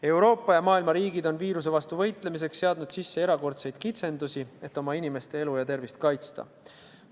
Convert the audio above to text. Euroopa ja muu maailma riigid on viiruse vastu võitlemiseks seadnud sisse erakordseid kitsendusi, et oma inimeste elu ja tervist kaitsta.